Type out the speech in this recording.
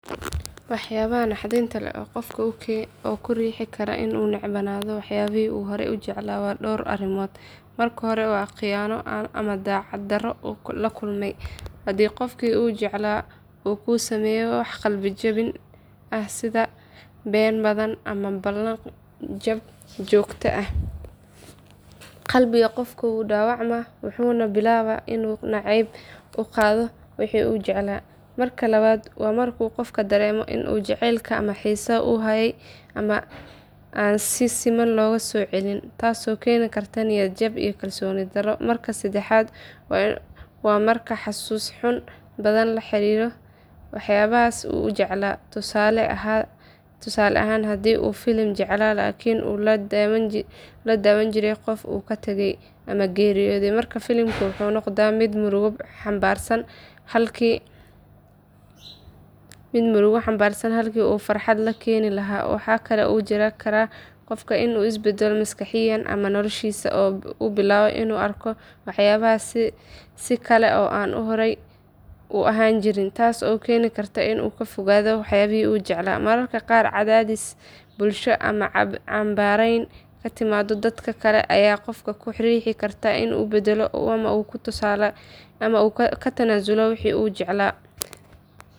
Waxyaabaha naxdinta leh ee qofka ku riixi kara inuu necebnaado waxyaabihii uu horay u jeclaa waa dhowr arrimood. Marka hore waa khiyaano ama daacad darro uu la kulmo, haddii qofkii uu jeclaa uu ku sameeyo wax qalbi jebin ah sida been badan ama ballan jab joogto ah, qalbiga qofka wuu dhaawacmaa wuxuuna bilaabaa inuu nacayb u qaado wixii uu jeclaa. Marka labaad waa markuu qofku dareemo in jacaylka ama xiisaha uu hayay aan si siman looga soo celin, taasoo keeni karta niyad jab iyo kalsooni darro. Marka saddexaad waa marka xasuus xanuun badan la xiriirto waxyaabahaas uu jeclaa, tusaale ahaan haddii uu filim jeclaa laakiin uu la daawan jiray qof uu ka tegay ama geeriyooday, markaas filimkii wuxuu noqdaa mid murugo xambaarsan halkii uu farxad ka keeni lahaa. Waxa kale oo jiri kara in qofka uu isbeddelo maskaxiyan ama noloshiisa oo uu bilaabo inuu arko waxyaabahaas si kale oo aan horey u ahaan jirin, taas oo keeni karta inuu ka fogaado waxyaabihii uu jeclaa. Mararka qaar, cadaadis bulsho ama canbaarayn ka timaadda dadka kale ayaa qofka ku riixda inuu is beddelo oo uu ka tanaasulo wixii uu jeclaa.